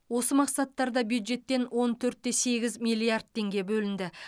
осы мақсаттарда бюджеттен он төрт те сегіз миллиард теңге бөлінді